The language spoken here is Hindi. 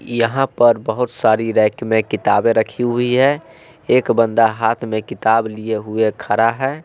यहां पर बहोत सारी रैंक में किताबें रखी हुई है एक बंदा हाथ में किताब लिए हुए खड़ा है।